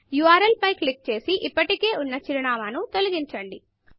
URL పై click చేసి ఇప్పటికే ఉన్న చిరునామాను తొలగించండి